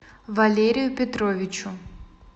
валерию петровичу